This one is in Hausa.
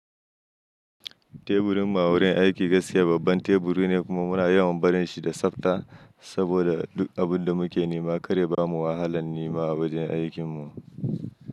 Teburin mu a wurin aiki gaskiya babban teburi ne kuma muna yawan barin shi da tsafta saboda duk abun da muke nema kar ya bamu wahalan nema a wurin aikin mu.